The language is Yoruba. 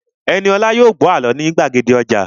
Ẹniolá yóò gbọ́ àlọ́ ní gbàgede ọjà